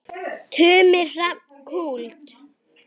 Tumi Hrafn Kúld.